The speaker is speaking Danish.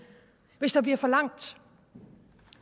hvis der bliver for langt